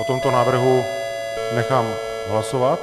O tomto návrhu nechám hlasovat.